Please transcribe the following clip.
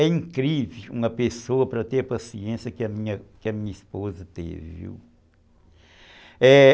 É incrível uma pessoa para ter a paciência que a minha que a minha esposa teve, viu, é...